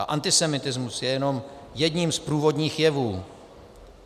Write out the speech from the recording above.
A antisemitismus je jenom jedním z průvodních jevů.